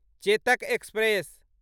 Chetak express